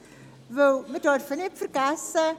Denn wir dürfen es nicht vergessen: